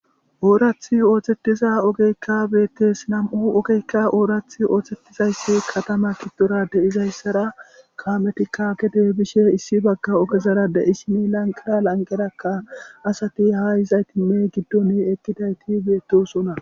Orathi oothettiza ogeykka beettes nam'u ogeykka oorath oothettizayssi katama giddora de'izayssara kaametikka gede bishe issi bagga ogezara de'ishini lanqera lanqerakka asati ha yizaytinne giddon eqqidayti beettosona.